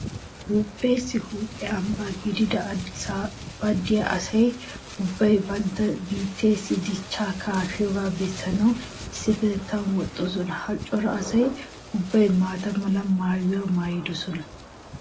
Toophpheessi huuphe ambba gidiya Addisaabaani diya asa ubbay bantta biittee dichchaa kaafiyogaa bessanawu issippetettan woxxoosona. Ha cora asa ubbay maata mala maayuwa maayidosona.